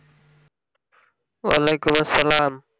ওয়ালাইকুম আসসালাম